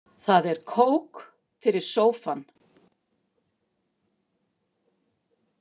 Það er kók fyrir sófann.